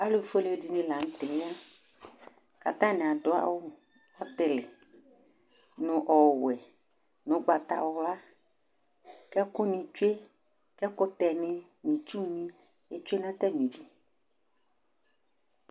Alu foele ɖɩnɩ la nutɛ mɛ, katanɩ aɖu awu ɔyɩlɩ nu Gwe nu ugbatawla, kɛkunɩ tsoe, ɛkutɛɲɩ nɩ tsunami atsue natamɩɖu